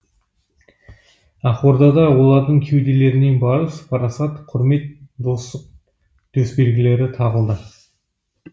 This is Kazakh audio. ақордада олардың кеуделеріне барыс парасат құрмет достық төсбелгілері тағылды